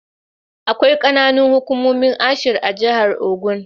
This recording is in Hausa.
Akwai ƙananan hukumomi ashir a jahar Ogun.